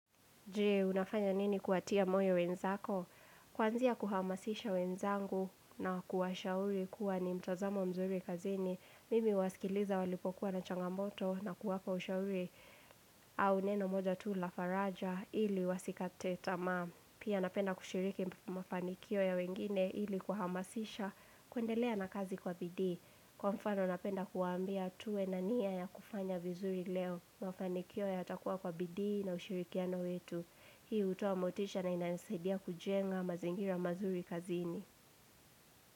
Jee, unafanya nini kuwatia moyo wenzako? Kwanzia kuhamasisha wenzangu na kuwashauri kuwa ni mtazamo mzuri kazini. Mimi huwasikiliza walipokuwa na changamoto na kuwapa ushauri au neno moja tu lafaraja ili wasikate tamaa. Pia napenda kushiriki mafanikio ya wengine ili kuhamasisha kuendelea na kazi kwa bidii. Kwa mfano napenda kuwaambia tuwe na nia ya kufanya vizuri leo mafanikio yatakuwa kwa bidii na ushirikiano wetu. Hii utoa motisha na inanisaidia kujenga mazingira mazuri kazini.